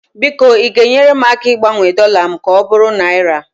biko ị ga-enyere m aka ịgbanwe dọla m ka ọ bụrụ naira?